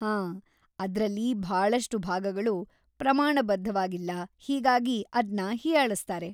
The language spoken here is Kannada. ಹಾಂ, ಅದ್ರಲ್ಲಿ ಭಾಳಷ್ಟು ಭಾಗಗಳು ಪ್ರಮಾಣಬದ್ಧವಾಗಿಲ್ಲ, ಹೀಗಾಗಿ ಅದ್ನ ಹೀಯಾಳಿಸ್ತಾರೆ.